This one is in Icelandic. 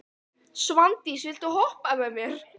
Sveindís, viltu hoppa með mér?